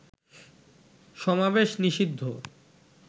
সমাবেশ নিষিদ্ধ